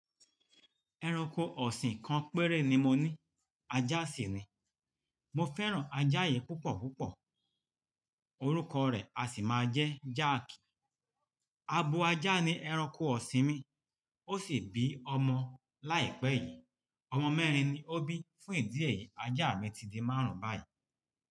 Ẹranko ọ̀sìn kan péré ni mo ní, ajá sì ni. Mo fẹ́ràn ajá yìí púpọ̀ púpọ̀. Orúkọ rẹ̀ a sì máa jẹ́ Jáàkì. Abo ajá ni ẹranko ọ̀sìn mi. Ó sì bí ọmọ láìpẹ́ yìí. Ọmọ mẹ́rin ni ó bí. Fún ìdí èyí, ajá mi ti di márùn-ún báyìí.